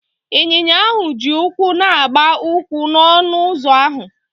Ịnyinya ahụ ji ụkwụ na-agba ụkwụ n'ọnụ ụzọ ahụ.